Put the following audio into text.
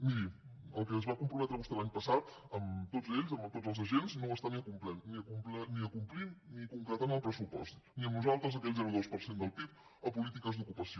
miri al que es va comprometre vostè l’any passat amb tots ells amb tots els agents no ho està ni acomplint ni concretant en el pressupost ni amb nosaltres aquell zero coma dos per cent del pib a polítiques d’ocupació